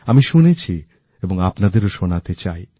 আমি শুনেছি এবং আপনাদেরও শোনাতে চাই